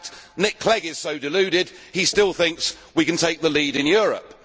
In fact Nick Clegg is so deluded he still thinks we can take the lead in Europe.